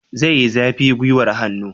Zai yi zafi gwiwar hannu?